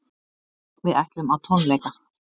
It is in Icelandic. Við ætlum á tónleika.